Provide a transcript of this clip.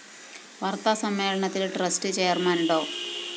വാര്‍ത്താ സമ്മേളനത്തില്‍ trust chairman ഡോ